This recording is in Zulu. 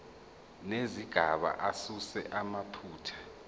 nezigaba asuse amaphutha